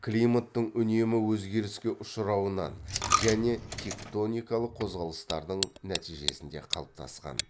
климаттың үнемі өзгеріске ұшырауынан және тектоникалық қозғалыстардың нәтижесінде қалыптасқан